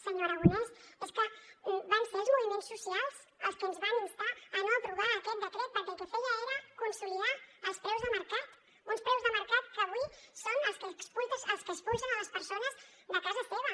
senyor aragonès és que van ser els moviments socials els que ens van instar a no aprovar aquest decret perquè el que feia era consolidar els preus de mercat uns preus de mercat que avui són els que expulsen les persones de casa seva